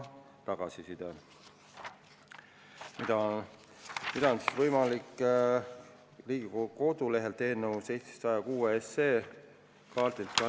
Seda on võimalik näha Riigikogu kodulehel eelnõu 106 kaardil.